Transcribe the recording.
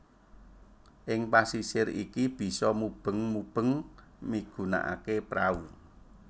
Ing pasisir iki bisa mubeng mubeng migunakaké prau